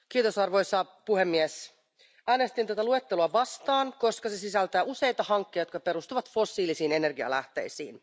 Arvoisa puhemies, äänestin tuota luetteloa vastaan, koska se sisältää useita hankkeita, jotka perustuvat fossiilisiin energialähteisiin.